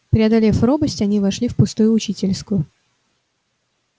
преодолев робость они вошли в пустую учительскую